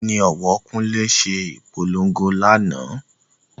Ẹni òwò Kunle se ìpolongo lánàá